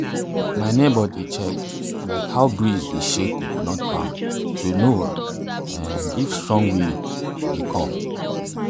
my neighbour dey check um how breeze dey shake coconut palm to know um if strong wind dey um come.